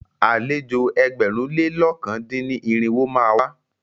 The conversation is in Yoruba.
Àlejò ẹgbẹ̀rún lé lọ̀kan dín ní irinwó má a wá.